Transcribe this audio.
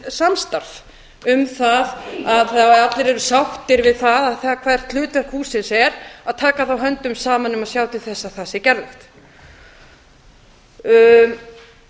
samstarf um það að ef allir eru sáttir við það hvert hlutverk hússins er að taka þá höndum saman að sjá til þess að það sé gerlegt